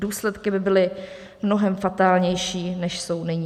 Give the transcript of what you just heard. Důsledky by byly mnohem fatálnější, než jsou nyní.